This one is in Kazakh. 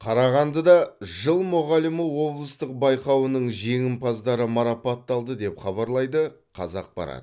қарағандыда жыл мұғалімі облыстық байқауының жеңімпаздары марапатталды деп хабарлайды қазақпарат